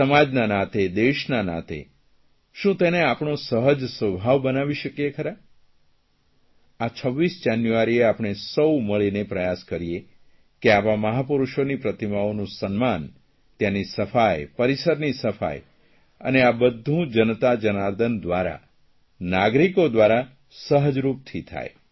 સમાજના નાતે દેશના નાતે શું તેને આપણો સહજ સ્વભાવ બનાવી શકીએ ખરા આ 26 જાન્યુઆરીએ આપણે સૌ મળીને પ્રયાસ કરીએ કે આવા મહાપુરૂષોની પ્રતિમાઓનું સન્માન ત્યાંની સફાઇ પરિસરની સફાઇ અને આ બધું જનતા જનાર્દન દ્વારા નાગરિકો દ્વારા સહજરૂપથી થાય